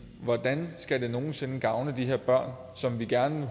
hvordan skal det nogen sinde gavne de her børn som vi gerne